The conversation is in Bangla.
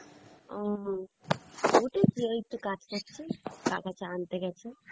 ও উঠেছি এই তো কাজ সারছি, কাকা চা আনতে গেছে